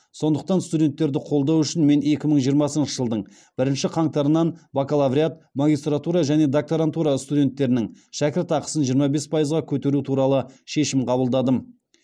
сондықтан студенттерді қолдау үшін мен екі мың жиырмасыншы жылдың бірінші қаңтарынан бакалавриат магистратура және докторантура студенттерінің шәкіртақысын жиырма бес пайызға көтеру туралы шешім қабылдадым